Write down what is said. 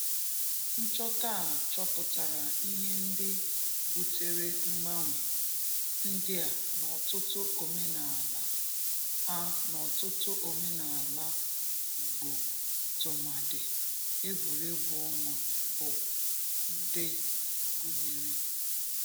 Nchọta a chọpụtara ihe ndị butere mgbanwe ndị a n’ọtụtụ omenala a n’ọtụtụ omenala Igbo tụmadị egwuregwu ọnwa bụ ndị gụnyere